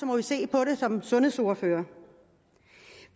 må vi se på det som sundhedsordførere